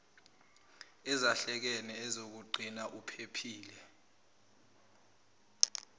ezahlekene ezizokugcina uphephile